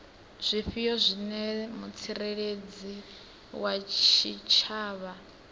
zwifhio zwine mutsireledzi wa tshitshavha